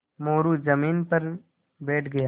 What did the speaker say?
मोरू ज़मीन पर बैठ गया